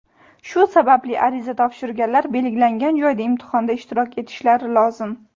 Shu sababli ariza topshirganlar belgilangan joyda imtihonda ishtirok etishlari lozim.